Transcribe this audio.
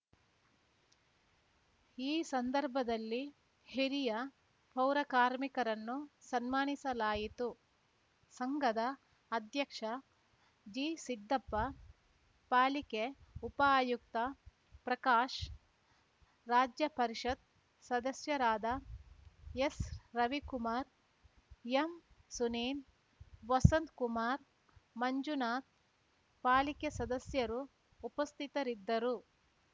ಈ ಸಂದರ್ಭದಲ್ಲಿ ಹಿರಿಯ ಪೌರ ಕಾರ್ಮಿಕರನ್ನು ಸನ್ಮಾನಿಸಲಾಯಿತು ಸಂಘದ ಅಧ್ಯಕ್ಷ ಜಿಸಿದ್ದಪ್ಪ ಪಾಲಿಕೆ ಉಪಆಯುಕ್ತ ಪ್ರಕಾಶ್‌ ರಾಜ್ಯ ಪರಿಷತ್‌ ಸದಸ್ಯರಾದ ಎಸ್‌ರವಿಕುಮಾರ್‌ ಎಂ ಸುನೀಲ್‌ ವಸಂತ್‌ಕುಮಾರ್‌ ಮಂಜುನಾಥ್‌ ಪಾಲಿಕೆ ಸದಸ್ಯರು ಉಪಸ್ಥಿತರಿದ್ದರು